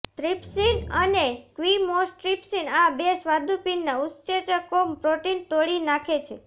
trypsin અને chymotrypsin આ બે સ્વાદુપિંડના ઉત્સેચકો પ્રોટીન તોડી નાખે છે